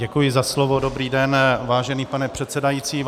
Děkuji za slovo, dobrý den, vážený pane předsedající, vážené -